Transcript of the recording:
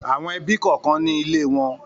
Àwọn ẹbí kọ̀ọ̀kan ní ilé wọn.